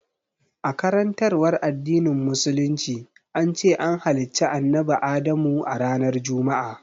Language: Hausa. A karantarwar addinin musulunci, an ce an halicci annabi Adamu a ranar Juma'a